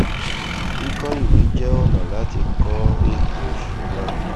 kíkọ ìwé jẹ ọnà láti kọ ètò ìsúná